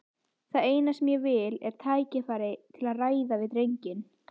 Það eina sem ég vil er tækifæri til að ræða við drenginn.